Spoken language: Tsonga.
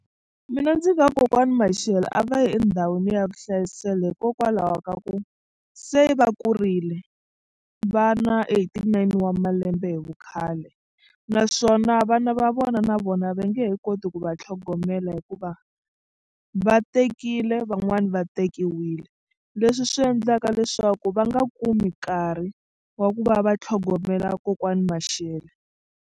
Mina ndzi nga ku kokwani Mashele a va yi endhawini ya vuhlayiselo hikokwalaho ka ku se va kurile va na eighty-nine wa malembe hi vukhale naswona vana va vona na vona va nge he koti ku va tlhogomela hikuva va tekile van'wani va tekiwile leswi swi endlaka leswaku va nga kumi nkarhi wa ku va va tlhogomela kokwani Mashele.